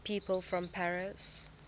people from paris